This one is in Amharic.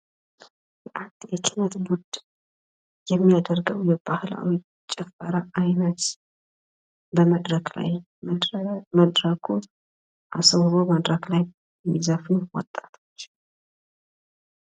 አንድ የኪነ ጥበብ ቡድን የሚያደርገው የባህላዊ ጭፈራ አይነት በመድረክ ላይ መድረኩን አስውበው መድረክ ላይ የሚዘፍኑ ወጣቶች።